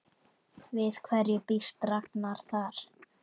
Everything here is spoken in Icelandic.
Við hverju býst Ragnar þar?